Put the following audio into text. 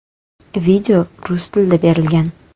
Video rus tilida berilgan.